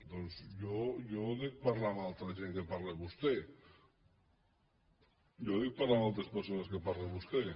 doncs jo dec parlat amb altra gent que parla amb vostè jo dec parlar amb altres persones que parla vostè